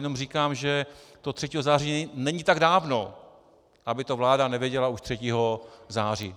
Jenom říkám, že toho 3. září není tak dávno, aby to vláda nevěděla už 3. září.